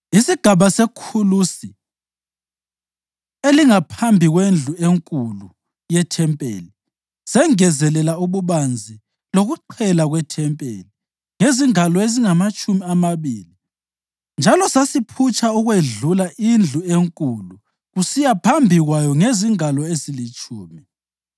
Isigaba sekhulusi elingaphambi kwendlu enkulu yethempeli sengezelela ububanzi lokuqhela kwethempeli, ngezingalo ezingamatshumi amabili njalo sasiphutsha ukwedlula indlu enkulu kusiya phambi kwayo ngezingalo ezilitshumi.